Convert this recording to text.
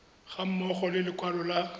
ga mmogo le lekwalo la